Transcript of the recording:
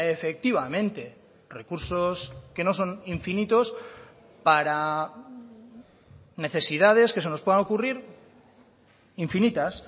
efectivamente recursos que no son infinitos para necesidades que se nos puedan ocurrir infinitas